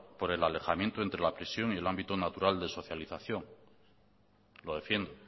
por el alejamiento entre la prisión y el ámbito natural de socialización lo defiendo